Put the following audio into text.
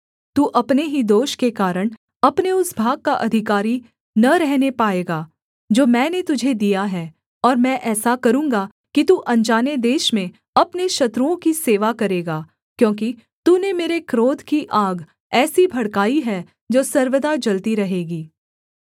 तू अपने ही दोष के कारण अपने उस भाग का अधिकारी न रहने पाएगा जो मैंने तुझे दिया है और मैं ऐसा करूँगा कि तू अनजाने देश में अपने शत्रुओं की सेवा करेगा क्योंकि तूने मेरे क्रोध की आग ऐसी भड़काई है जो सर्वदा जलती रहेगी